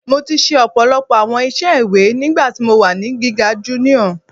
Mo ti ṣe ọpọlọpọ awọn iṣẹ iwe nigbati mo wa ni giga junior